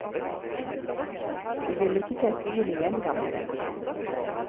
Du ville ikke kjent byen igjen, gamle venn.